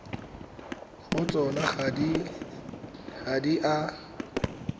go tsona ga di a